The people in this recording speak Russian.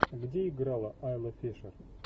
где играла айла фишер